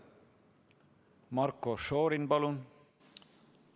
Marko Šorin, palun!